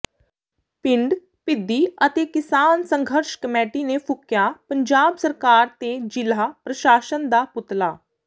ਪਿੰਡ ਪਿੱਦੀ ਅਤੇ ਕਿਸਾਨ ਸੰਘਰਸ਼ ਕਮੇਟੀ ਨੇ ਫੂਕਿਆ ਪੰਜਾਬ ਸਰਕਾਰ ਤੇ ਜ਼ਿਲ੍ਹਾ ਪ੍ਰਸ਼ਾਸਨ ਦਾ ਪੁਤਲਾ